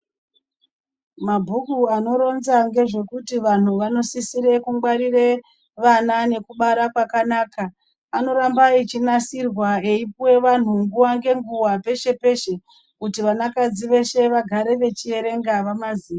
Mabhuku anoronza ngezvekuti vantu vanosise kugwarire vana nekubara kwakanaka anoramba einasirwa eipuwe vantu nguwa ngenguwa peshe peshe kuti vanakadzi veshe vagare vachierenga vamaziye.